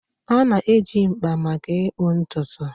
A na-eji mkpa maka ịkpụ ntutu.